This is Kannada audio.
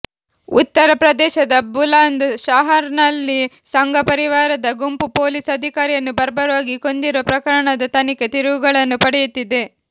ಉತ್ತರ ಪ್ರದೇಶದ ಬುಲಂದ್ ಶಹರ್ನಲ್ಲಿ ಸಂಘಪರಿವಾರದ ಗುಂಪು ಪೊಲೀಸ್ ಅಧಿಕಾರಿಯನ್ನು ಬರ್ಬರವಾಗಿ ಕೊಂದಿರುವ ಪ್ರಕರಣದ ತನಿಖೆ ತಿರುವುಗಳನ್ನು ಪಡೆಯುತ್ತಿದೆ